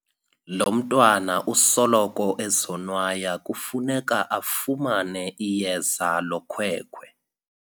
Lo mntwana usoloko ezonwaya kufuneka afumane iyeza lokhwekhwe.